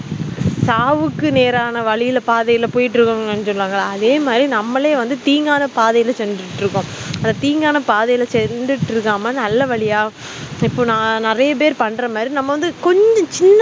சாவுக்கு நேரான வழில பாதைலபோயக்கிட்டுஇருக்கோம அதே மாதிரி நம்மாலே தீங்கான பாதையில சென்று கிட்டு இருக்கோம் அந்த தீங்கான பாதையில சென்றுற்று இருக்காம நல்லவழியா இப்போ நெறைய பேர் பண்ற மாதிரி கொஞ்சம் சின்ன